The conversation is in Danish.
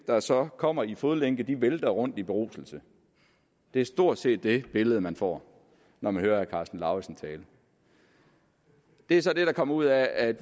der så kommer i fodlænke vælter sig rundt i beruselse det er stort set det billede man får når man hører herre karsten lauritzen tale det er så det der kommer ud af at